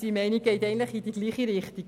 Unsere Meinung geht in dieselbe Richtung.